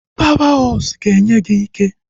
Pawa hosụ ga-enye gị ike